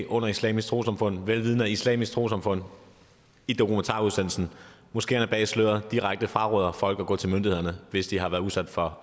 under islamisk trossamfund vel vidende at islamisk trossamfund i dokumentarudsendelsen moskeerne bag sløret direkte fraråder folk at gå til myndighederne hvis de har været udsat for